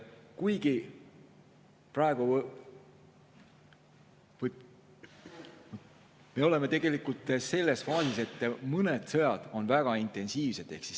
Kuigi praegu me oleme selles faasis, et mõned sõjad on väga intensiivsed.